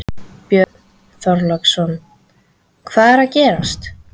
Björn Þorláksson: Hvað er að gerast?